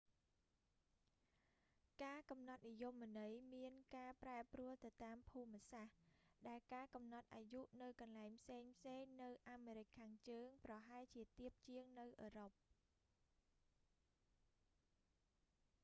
ការកំណត់និយមន័យមានការប្រែប្រួលទៅតាមភូមិសាស្ត្រ ដែលការកំណត់អាយុនៅកន្លែងផ្សេងៗនៅអាមេរិកខាងជើងប្រហែលជាទាបជាងនៅអឺរ៉ុប